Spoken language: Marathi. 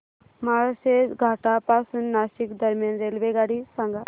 माळशेज घाटा पासून नाशिक दरम्यान रेल्वेगाडी सांगा